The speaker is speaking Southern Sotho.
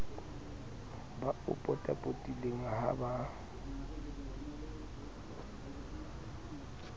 ba o potapotileng ha ba